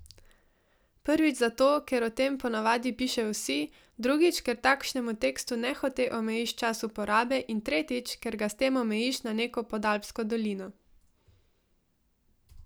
Prvič zato, ker o tem po navadi pišejo vsi, drugič, ker takšnemu tekstu nehote omejiš čas uporabe, in tretjič, ker ga s tem omejiš na neko podalpsko dolino.